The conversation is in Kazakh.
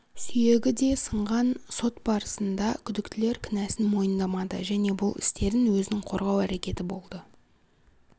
сүйегі де сынған сот барысында күдіктілер кінәсін мойындамады және бұл істерін өзін қорғау әрекеті болды